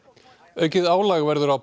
aukið álag verður á